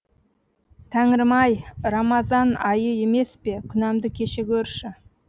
тәңірім ай рамазан айы емес пе күнәмді кеше гөрші